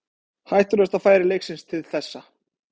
Hættulegasta færi leiksins til þessa.